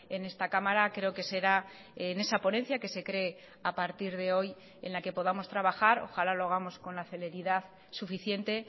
en esta cámara creo que será en esa ponencia que se crea a partir de hoy en la que podamos trabajar ojalá lo hagamos con la celeridad suficiente